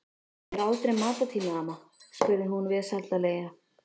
Er aldrei matartími, amma? spurði hún vesældarlega.